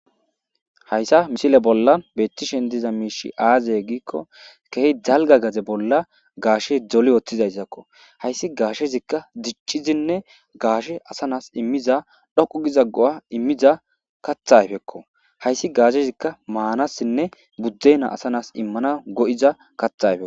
hayssa misile bolla beettishen diza miishi aazey giikko kehi jalga gaze bolla gaashe dole ooththizayszakko hayssi gaashezikka diccizinne gaashe asanas immiza dhoqu giza go7a immiza kathayfekko hayssi gaashezikka maanassinne buddena asanas immana go7iza kathayfek